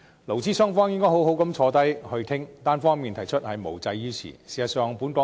勞資雙方應該好好坐下來討論，單方面提出是無濟於事的。